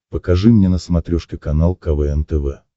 покажи мне на смотрешке канал квн тв